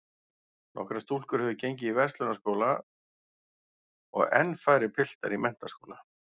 Nokkrar stúlkur höfðu gengið á Verslunarskóla og enn færri piltar í menntaskóla.